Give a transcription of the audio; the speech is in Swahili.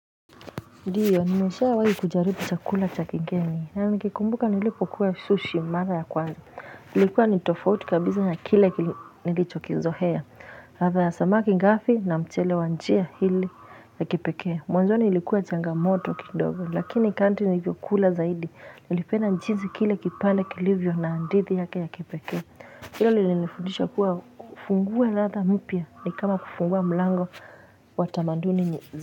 Ndiyo, nimeshawahi kujaribu cha kula cha kigeni. Na nikikumbuka nilipokula sushi, mara ya kwanza. Nilikuwa ni tofauti kabisa ya kilivyo nilichokizoea. Ladha ya samaki ngafi na mchele wa njia ili ya kipekee. Mwanzoni ilikuwa changamoto kidogo, lakini kadri nlivyokula zaidi. Nilipenda nchizi kile kipande kilivyo na andithi ya kepekea. Hilo lini nifundisha kuwa kufungua ladha mpya ni kama kufungua mlango watamaduni.